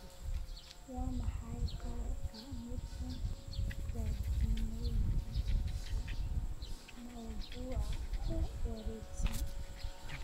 Waa maxay qaar ka mid ah jardiinooyinka mawduuca ku wareegsan?